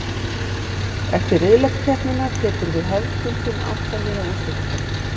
Eftir riðlakeppnina tekur við hefðbundin átta liða úrslitakeppni.